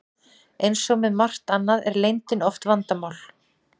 Eins og með margt annað er leyndin oft vandamál.